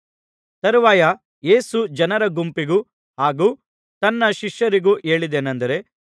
ತರುವಾಯ ಯೇಸು ಜನರ ಗುಂಪಿಗೂ ಹಾಗು ತನ್ನ ಶಿಷ್ಯರಿಗೂ ಹೇಳಿದ್ದೇನೆಂದರೆ